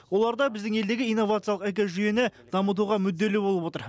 олар да біздің елдегі инновациялық экожүйені дамытуға мүдделі болып отыр